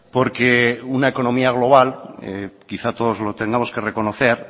porque una economía global quizás todos lo tengamos que reconocer